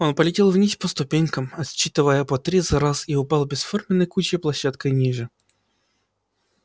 он полетел вниз по ступенькам отсчитывая по три за раз и упал бесформенной кучей площадкой ниже